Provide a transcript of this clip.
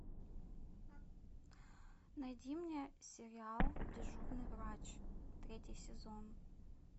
найди мне сериал дежурный врач третий сезон